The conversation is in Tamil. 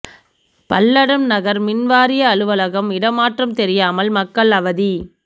பல்லடம் நகா் மின் வாரிய அலுவலகம் இடமாற்றம் தெரியாமல் மக்கள் அவதி